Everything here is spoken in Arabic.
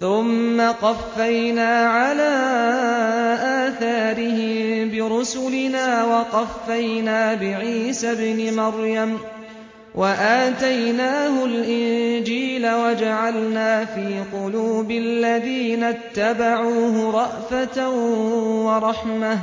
ثُمَّ قَفَّيْنَا عَلَىٰ آثَارِهِم بِرُسُلِنَا وَقَفَّيْنَا بِعِيسَى ابْنِ مَرْيَمَ وَآتَيْنَاهُ الْإِنجِيلَ وَجَعَلْنَا فِي قُلُوبِ الَّذِينَ اتَّبَعُوهُ رَأْفَةً وَرَحْمَةً